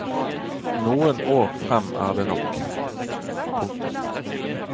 Noen år frem er det nok. punktum